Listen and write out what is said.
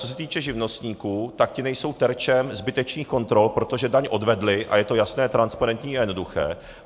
Co se týče živnostníků, tak ti nejsou terčem zbytečných kontrol, protože daň odvedli, a je to jasné, transparentní a jednoduché.